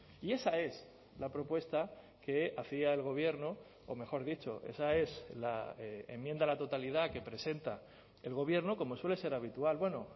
y esa es la propuesta que hacía el gobierno o mejor dicho esa es la enmienda a la totalidad que presenta el gobierno como suele ser habitual bueno